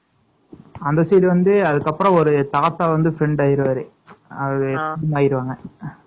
அந்த side வந்து அப்பறம் ஒரு தாத்தா வந்து friend ஆகிருவாங்க அது இதாயிருவாங்க